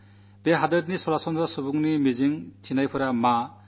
ഈ നാട്ടിലെ സാധാരണ മനുഷ്യന്റെ പ്രതീക്ഷകളും പ്രത്യാശകളുമെന്താണ്